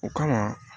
O kama